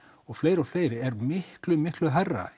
og fleiri og fleiri er miklu miklu hærra